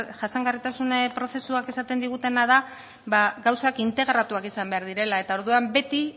jasangarritasun prozesuak esaten digutena da gauzak integratuak izan behar direla eta orduan beti